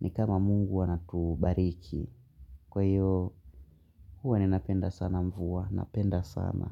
ni kama mungu anatubariki. Kwa hiyo, huwa ninapenda sana mvua, napenda sana.